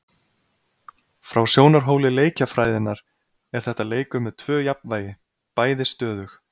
Frá sjónarhóli leikjafræðinnar er þetta leikur með tvö jafnvægi, bæði stöðug.